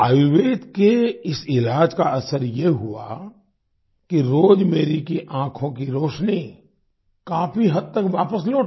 आयुर्वेद के इस इलाज का असर ये हुआ कि रोजमेरी की आंखों की रोशनी काफी हद तक वापस लौट आई